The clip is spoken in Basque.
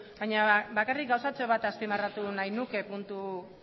baina bakarri gauzatxo bat azpimarratu nahi nuke puntu